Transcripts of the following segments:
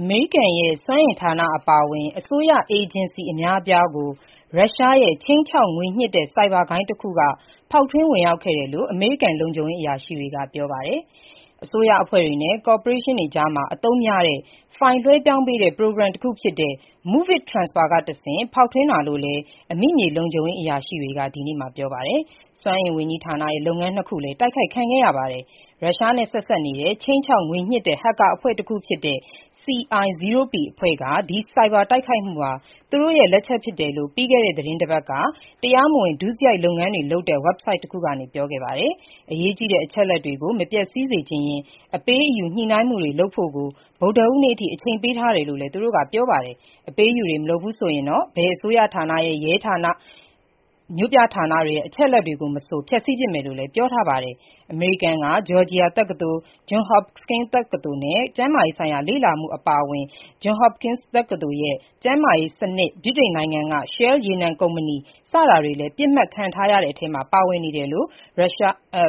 အမေရိကန်ရဲ့ စွမ်းအင်ဌာနအပါအဝင် အစိုးရအေဂျင်စီ အများအပြားကို ရုရှားရဲ့ ခြိမ်းခြောက် ငွေညှစ်တဲ့ ဆိုက်ဘာ ဂိုဏ်းတခုက ဖောက်ထွင်းဝင်ရောက်ခဲ့တယ်လို့ အမေရိကန်လုံခြုံရေး အရာရှိတွေက ပြောပါတယ်။ အစိုးရအဖွဲ့တွေနဲ့ ကော်ပိုရေးရှင်းတွေကြားမှာ အသုံးများတဲ့ ဖိုင်လွှဲပြောင်းတဲ့ ပရိုဂရမ်တခုဖြစ်တဲ့ MOVEit Transfer ကတဆင့် ဖောက်ထွင်းတာလို့လည်း အမိမြေလုံခြုံရေးအရာရှိတွေက ဒီနေ့မှာ ပြောပါတယ်။ စွမ်းအင်ဝန်ကြီးဌာနရဲ့ လုပ်ငန်းနှစ်ခုလည်း တိုက်ခိုက်ခံခဲ့ရပါတယ်။ ရုရှားနဲ့ ဆက်စပ်နေတဲ့ ခြိမ်းခြောက်ငွေညှစ်တဲ့ ဟက်ကာအဖွဲ့တခုဖြစ်တဲ့ CI0p အဖွဲ့က ဒီ ဆိုက်ဘာတိုက်ခိုက်မှုဟာ သူတို့ရဲ့ လက်ချက်ဖြစ်တယ်လို့ ပြီးခဲ့တဲ့ သီတင်းပတ်က တရားမဝင်ဒုစရိုက်လုပ်ငန်းတွေလုပ်တဲ့ ဝဘ်ဆိုက်တခုကနေ ထုတ်ပြောခဲ့ပါတယ်။ အရေးကြီးတဲ့အချက်အလက်တွေကို မပျက်ဆီးစေချင်ရင် အပေးအယူညှိနှိုင်းမှုတွေလုပ်ဖို့ကို ဗုဒ္ဓဟူးနေ့အထိ အချိန်ပေးထားတယ်လို့လည်း သူတို့က ပြောပါတယ်။အပေးအယူ မလုပ်ဘူးဆိုရင်တော့ ဘယ်အစိုးရဌာန၊ ရဲဌာနဲ့ မြို့ပြဌာနတွေရဲ့ အချက်အလက်တွေကိုမဆို ဖျက်ဆီးပစ်မယ်လို့လည်းပြောထားပါတယ်။ အမေရိကန်က ဂျော်ဂျီယာတက္ကသိုလ်၊ Johns Hopkins တက္ကသိုလ်နဲ့ ကျန်းမာရေးဆိုင်ရာ လေ့လာမှုအပါအဝင် Johns Hopkins တက္ကသိုလ်ရဲ့ကျန်းမာရေးစနစ်၊ ဗြိတိန်နိုင်ငံက Shell ရေနံကုမ္ပဏီ စတာတွေလည်း ပစ်မှတ်ထားခံရတဲ့အထဲမှာ ပါဝင်နေတယ်လို့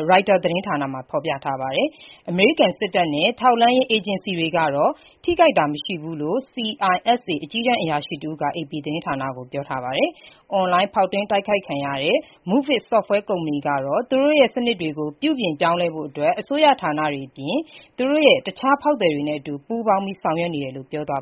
Reuters သတင်းမှာ ဖော်ပြထားပါတယ်။ အမေရိကန်စစ်တပ်နဲ့ ထောက်လှမ်းရေးအေဂျင်စီတွေကတော့ ထိခိုက်ခံရတာ မရှိဘူးလို့ CISA အကြီးတန်းအရာရှိတဦးက အေပီသတင်းဌာနကို ပြောထားပါတယ်။ အွန်လိုင်းဖောက်ထွင်းတိုက်ခိုက်ခံရတဲ့ MOVEit software ကုမ္ပဏီကတော့ သူတို့ရဲ့ စနစ်တွေကို ပြုပြင်ဖို့ အစိုးရဌာနတွေအပြင် သူ့ရဲ့အခြားဖောက်သည်တွေရဲ့ အတူပူးပေါင်းဆောင်ရွက်နေတယ်လို့ ပြောပါတ